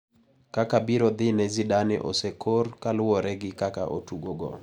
Kaka birodhine Zidane osekor kaluwore gi kaka otugogo.